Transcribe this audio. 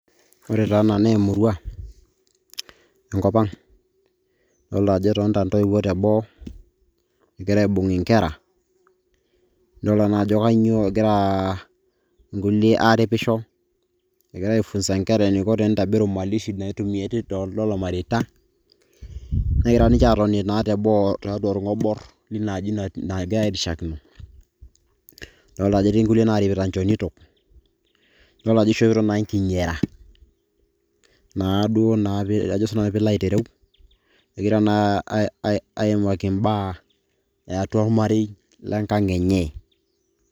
Ore taa ena na emurua, enkop ang'. Adolta ajo etoonta entoiwuoi teboo, egira aibung' inkera. Nidolta na ajo kanyioo egira nkulie aripisho, egirai aifunza nkera eniko tenitobiru mali shi naitumia tidoldolo tolmareita, negira ninche atoni naa teboo tiatua orng'obor linaa aji nagira airiashakino. Adolta ajo etii nkulie narimita nchonito, idol ajo ishopito nai nkinyara, naduo naa ajo sinanu pilo aitereu, egira na aimaki imbaa eatua ormarei linkang' enye.